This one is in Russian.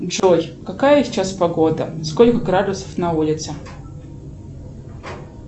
джой какая сейчас погода сколько градусов на улице